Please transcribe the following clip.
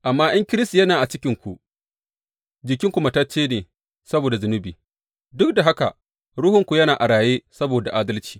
Amma in Kiristi yana a cikinku, jikinku matacce ne saboda zunubi, duk da haka ruhunku yana a raye saboda adalci.